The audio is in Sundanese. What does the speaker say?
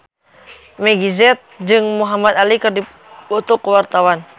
Meggie Z jeung Muhamad Ali keur dipoto ku wartawan